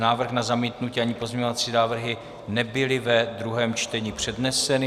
Návrh na zamítnutí ani pozměňovací návrhy nebyly ve druhém čtení předneseny.